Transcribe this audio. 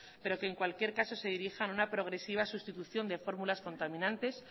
pero que en cualquier caso se dirijan a una progresiva sustitución de fórmulas contaminantes